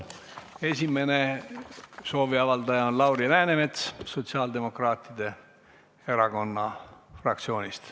Esimene sooviavaldaja on Lauri Läänemets sotsiaaldemokraatide fraktsioonist.